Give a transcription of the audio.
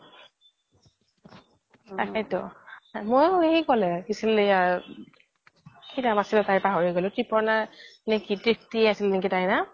তাকেই তো মইও সেই ক্'লে কি নাম আছিল তাইৰ পাহৰি গ্'লো ক্ৰিপোনা নে ত্ৰিপ্তি আছিল নেকি তাইৰ নাম